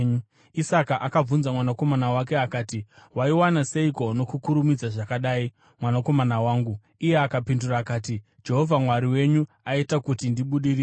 Isaka akabvunza mwanakomana wake akati, “Waiwana seiko nokukurumidza zvakadai, mwanakomana wangu?” Iye akapindura akati, “Jehovha Mwari wenyu aita kuti ndibudirire.”